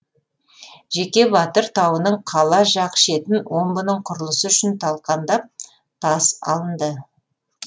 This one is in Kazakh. жеке батыр тауының қала жақ шетін омбының құрылысы үшін талқандап тас алынды